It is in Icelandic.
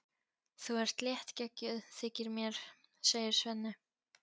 Þú ert léttgeggjuð, þykir mér, segir Svenni.